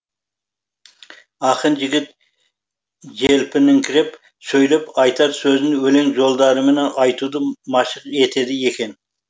ақын жігіт желпініңкіреп сөйлеп айтар сөзін өлең жолдарымен айтуды машық етеді екен